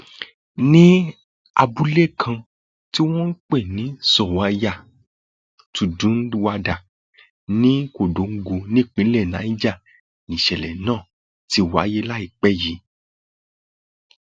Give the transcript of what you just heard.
ní abúlé kan tí wọn ń pè ní zọwọyà túndúnwádà ní kòńdóńgò nípńlẹ niger nìṣẹlẹ náà ti wáyé láìpẹ yìí